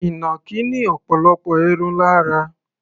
Ìnàkí ní ọ̀pọ̀lọpọ̀ irun lára.